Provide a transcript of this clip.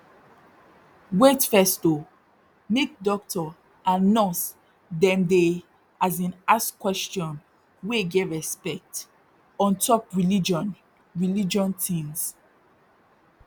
wait first oh make dokto and nurse dem dey as in ask question wey get respect ontop religion religion tins